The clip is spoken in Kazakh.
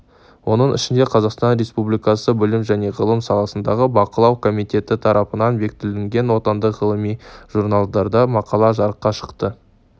оның ішінде қазақстан республикасы білім және ғылым саласындағы бақылау комитеті тарапынан бекітілген отандық ғылыми журналдарда мақала жарыққа шықты